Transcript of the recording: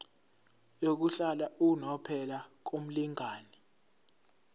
yokuhlala unomphela kumlingani